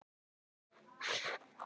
Eða gengur eftir línu.